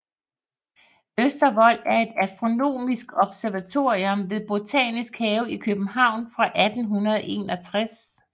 Østervold er et astronomisk observatorium ved Botanisk Have i København fra 1861